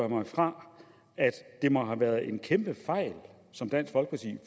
mig fra at det må have været en kæmpe fejl som dansk folkeparti